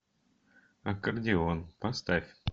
аккордеон поставь